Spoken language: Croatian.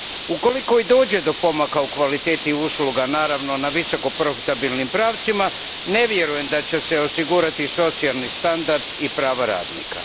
Ukoliko i dođe do pomaka u kvaliteti usluga, naravno u visoko profitabilnim pravcima, ne vjerujem da će se osigurati socijalni standard i prava radnika.